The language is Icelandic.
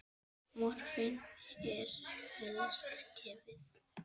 Morfín er helst gefið